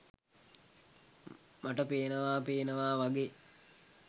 මට පේනවා පේනවා වගේ.